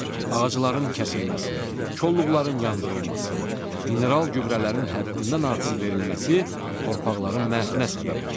Ağacların kəsilməsi, koluqların yandırılması, mineral gübrələrin həddindən artıq verilməsi torpaqların məhvinə səbəb olur.